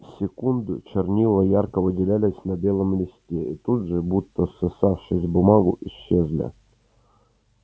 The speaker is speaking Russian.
секунду чернила ярко выделялись на белом листе и тут же будто всосавшись в бумагу исчезли